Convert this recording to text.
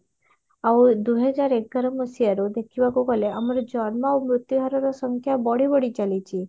ଆଉ ଦୁଇ ହଜାର ଏଗାର ମସିହାରୁ ଦେଖିବାକୁ ଗଲେ ଆମର ଜନ୍ମ ଆଉ ମୃତ୍ୟୁହାରର ସଂଖ୍ୟା ବଢି ବଢି ଚାଲିଛି